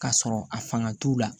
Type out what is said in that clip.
Ka sɔrɔ a fanga t'u la